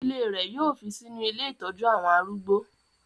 Ìdílé rẹ̀ yóò fi sínú ilé ìtọ́jú àwọn arúgbó.